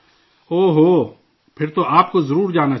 اوہ... پھر تو آپ کو ضرور جانا چاہیے